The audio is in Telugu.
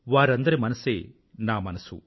వారందరి మనసే నా మనసు